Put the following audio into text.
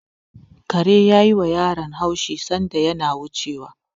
Karen ya yiwa yaron haushi sanda yana wucewa.